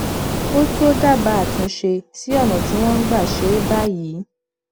ó tó dábàá àtúnṣe sí ọnà tí wọn ń gbà ṣe é báyìí